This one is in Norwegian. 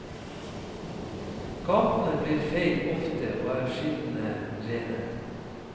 Gatene blir feid ofte og er skinnende rene.